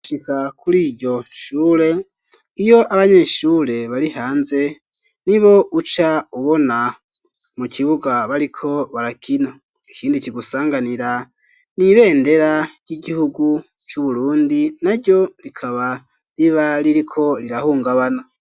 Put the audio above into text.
Shika kuri iryo nchure iyo abanyeshure bari hanze ni bo uca ubona mu kibuga bariko barakino ikindi kigusanganira n'ibendera ry'igihugu c'uburundi na ryo rikaba riba ririko rirahungabana.